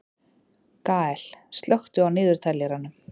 Gael, slökktu á niðurteljaranum.